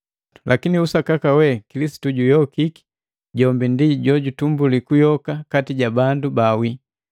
Lakini usakaka we Kilisitu juyokiki jombi ndi jutumbuli kuyoka kati ja bandu bawii.